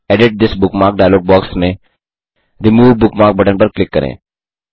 edit this bookmark dialog box में remove bookmark button पर click करें